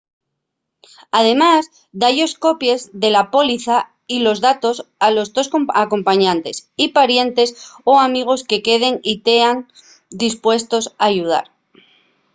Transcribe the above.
además da-yos copies de la póliza y los datos a los tos acompañantes y parientes o amigos que queden y tean dispuestos a ayudar